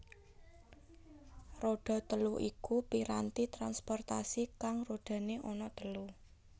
Roda telu iku piranti transportasi kang rodane ana telu